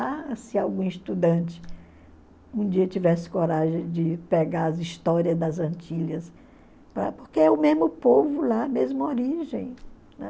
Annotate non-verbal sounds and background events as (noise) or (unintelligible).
Ah, se algum estudante um dia tivesse coragem de pegar as histórias das Antilhas, (unintelligible) porque é o mesmo povo lá, a mesma origem.